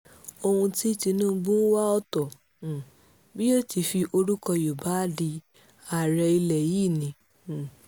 ohun tí tinubu ń wá ọ̀tọ̀ um bí yóò ti fi orúkọ yorùbá adí ààrẹ ilẹ̀ yìí ni um